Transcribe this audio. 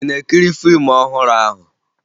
Ị na-ekiri fiimu ọhụrụ ahụ?